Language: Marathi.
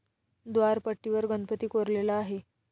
व्दारपट्टीवर गणपती कोरलेला आहे.